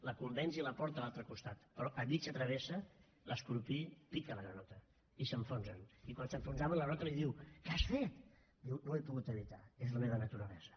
la convenç i la porta a l’altre costat però a mitja travessa l’escorpí pica la granota i s’enfonsen i quan s’enfonsaven la granota li diu què has fet diu no ho he pogut evitar és la meva naturalesa